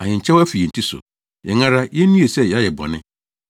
Ahenkyɛw afi yɛn ti so. Yɛn ara, yennue sɛ yɛayɛ bɔne!